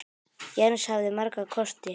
Jens hafði marga kosti.